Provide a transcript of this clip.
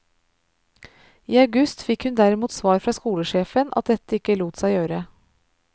I august fikk hun derimot svar fra skolesjefen at dette ikke lot seg gjøre.